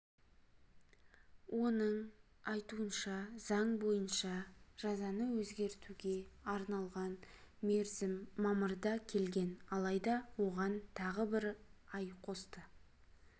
оның айтуынша заң бойынша жазаны өзгертуге арналған мерзім мамырда келген алайда оған тағы бір ай қосты